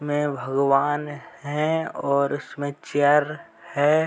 मैं भगवान है और इसमें चेयर है।